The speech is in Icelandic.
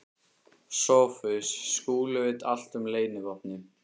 SOPHUS: Skúli veit allt um leynivopnið.